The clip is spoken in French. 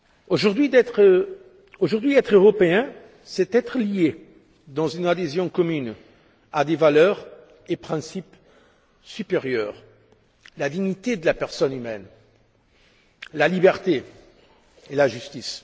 Aujourd'hui être Européen, c'est être lié dans une adhésion commune à des valeurs et des principes supérieurs la dignité de la personne humaine, la liberté et la justice.